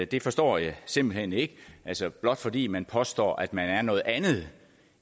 det forstår jeg simpelt hen ikke altså blot fordi man påstår at man er noget andet